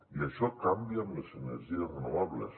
i això canvia amb les energies renovables